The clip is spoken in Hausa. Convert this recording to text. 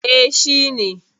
E, shi ne.